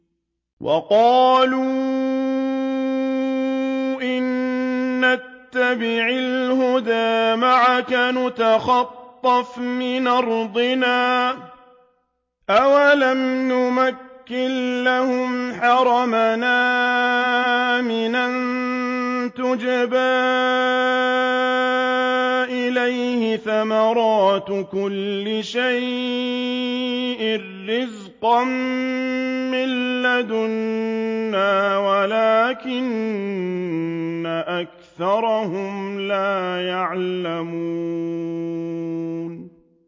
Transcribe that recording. وَقَالُوا إِن نَّتَّبِعِ الْهُدَىٰ مَعَكَ نُتَخَطَّفْ مِنْ أَرْضِنَا ۚ أَوَلَمْ نُمَكِّن لَّهُمْ حَرَمًا آمِنًا يُجْبَىٰ إِلَيْهِ ثَمَرَاتُ كُلِّ شَيْءٍ رِّزْقًا مِّن لَّدُنَّا وَلَٰكِنَّ أَكْثَرَهُمْ لَا يَعْلَمُونَ